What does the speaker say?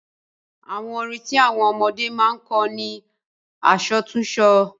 Àwọn orin tí àwọn ọmọdé máa ń kọ ni àsọtúnsọ.